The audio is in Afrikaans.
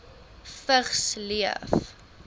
vigs leef